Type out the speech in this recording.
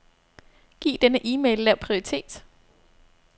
Giv denne e-mail lav prioritet.